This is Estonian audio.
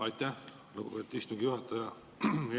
Aitäh, lugupeetud istungi juhataja!